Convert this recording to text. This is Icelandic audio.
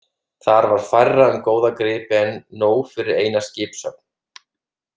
Þar var færra um góða gripi en nóg fyrir eina skipshöfn.